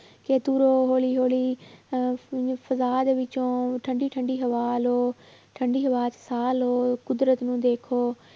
ਕਿ ਤੁਰੋ ਹੌਲੀ ਹੌਲੀ ਅਹ ਠੰਢੀ ਠੰਢੀ ਹਵਾ ਲਓ ਠੰਢੀ ਹਵਾ 'ਚ ਸਾਹ ਲਓ ਕੁਦਰਤ ਨੂੰ ਦੇਖੋ।